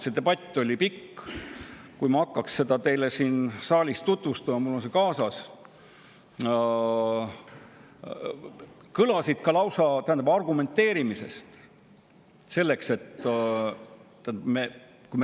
See debatt oli pikk, ma seda teile siin saalis tutvustada, kuid mul on see kaasas.